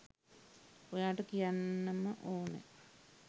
ඔයාට කියන්නම ඕනෙ.